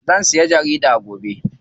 Zan siya jarida gobe.